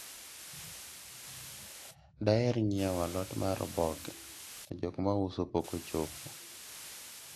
daher nyiewo alot mar oboke to jok mauso pok ochopo